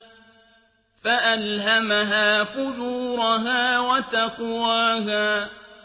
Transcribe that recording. فَأَلْهَمَهَا فُجُورَهَا وَتَقْوَاهَا